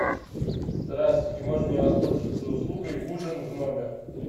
здравствуйте можно мне воспользоваться услугой ужин в номер